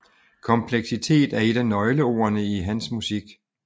Kompleksitet er et af nøgleordene i hans musik